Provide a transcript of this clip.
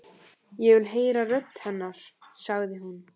Ég vil heyra rödd hennar, sagði hún.